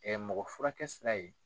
mɔgɔ furakɛ sira ye.